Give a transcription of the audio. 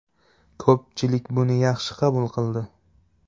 Ko‘pchilik buni yaxshi qabul qildi.